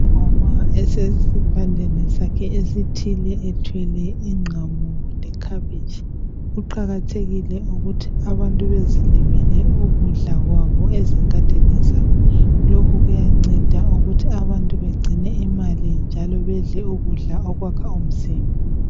Umama esesivandeni sakhe esithile ethwele ingqamu lekhabitshi, kuqakathekile ukuthi abantu bezilimele ukudla kwabo ezingadini zabo, lokhu kuyanceda ukuthi abantu begcine imali njalo bedle ukudla okwakha umzimba.